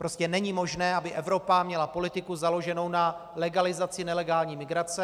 Prostě není možné, aby Evropa měla politiku založenou na legalizaci nelegální migrace.